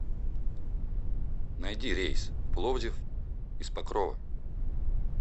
найди рейс в пловдив из покрова